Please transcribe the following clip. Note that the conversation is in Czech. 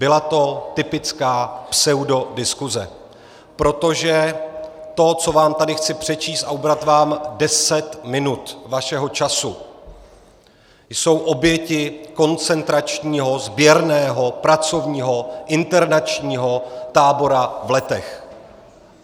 Byla to typická pseudodiskuse, protože to, co vám tady chci přečíst, a ubrat vám deset minut vašeho času, jsou oběti koncentračního sběrného pracovního internačního tábora v Letech.